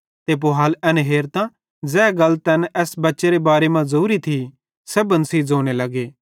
ते पुहाल एन हेरतां ज़ै गल तैन एस बच्चेरे बारे मां ज़ोरी त तैना ए गल सेब्भन सेइं ज़ोने लगे